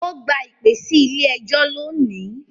Ó gba ìpè sí ilé ẹjọ́ lónìí.